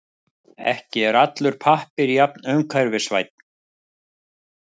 Ekki er allur pappír jafn umhverfisvænn.